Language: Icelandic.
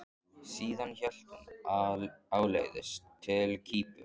Síðan hélt hún áleiðis til Kýpur.